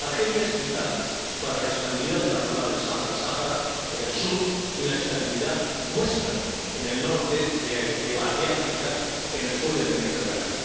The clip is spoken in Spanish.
Argelia es vital para la estabilidad de la zona del Sahel Sáhara en el sur, y la estabilidad nuestra en el norte de África, en el sur del Mediterráneo.